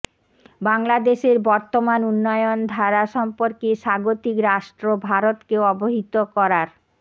বাংলাদেশের বর্তমান উন্নয়ন ধারা সম্পর্কে স্বাগতিক রাষ্ট্র ভারতকে অবহিত করার